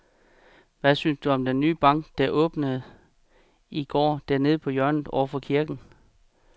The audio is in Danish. Hvad synes du om den nye bank, der åbnede i går dernede på hjørnet over for kirken?